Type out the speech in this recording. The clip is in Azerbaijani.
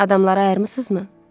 Adamlara ayırmırsınızmı?